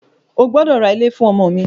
O gbọ́dọ̀ ra ilé fún ọmọ mi!